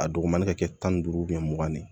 A dugumɛnɛ ka kɛ tan ni duuru mugan ni